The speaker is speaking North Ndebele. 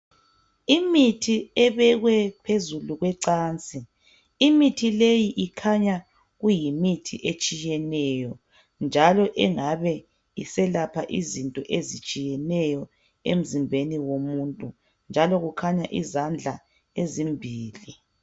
Imithi ebekwe phezulu kwecansi, imithi le ikhanya kuyimithi etshiyeneyo njalo engabe iselapha izinto ezitshiyeneyo emzimbeni womuntu. Njalo kukhanya izandla ezimbili.